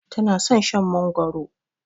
Tana son Shan mangoro